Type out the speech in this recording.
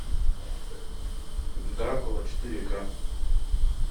дракула четыре ка